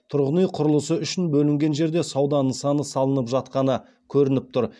тұрғын үй құрылысы үшін бөлінген жерде сауда нысаны салынып жатқаны көрініп тұр